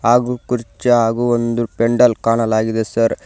ಹಾಗೂ ಕುರ್ಚಿ ಹಾಗೂ ಒಂದು ಪೆಂಡಲ್ ಕಾಣಲಾಗಿದೆ ಸರ್ .